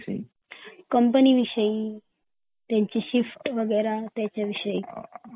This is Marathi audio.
कंपनी विषयी त्यांची शिफ्ट वगैरे त्या विषयी ते